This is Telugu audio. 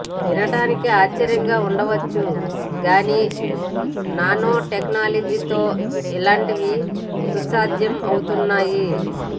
వినటానికి ఆశ్చర్యంగా ఉండొచ్చు గానీ నానో టెక్నాలజీతో ఇలాంటివీ సుసాధ్యమవుతున్నాయి